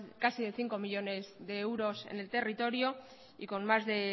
casi cinco millónes de euros en el territorio y con más de